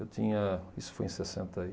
Eu tinha... Isso foi em sessenta e.